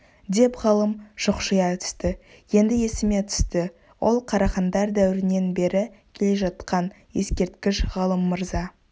деп ғалым шұқшия түсті енді есіме түсті ол қарахандар дәуірінен бері келе жатқан ескерткіш ғалым мырза